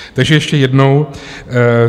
Takže ještě jednou.